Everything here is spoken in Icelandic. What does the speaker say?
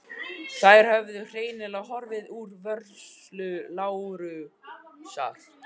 Þær höfðu hreinlega horfið úr vörslu Lárusar.